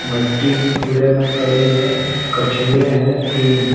मट्टी भी पूरे में पड़ी है कछुए हैं तीन।